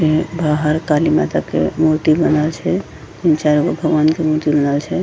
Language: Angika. ये बाहर काली माता के मूर्ति बनल छै तीन-चार गो भगवान के मूर्ति बनल छै।